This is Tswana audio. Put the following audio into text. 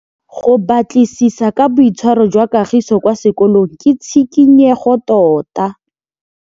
Go batlisisa ka boitshwaro jwa Kagiso kwa sekolong ke tshikinyêgô tota.